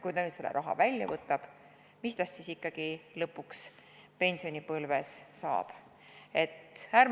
Kui ta nüüd selle raha välja võtab, mis tast siis ikkagi lõpuks pensionipõlves saab?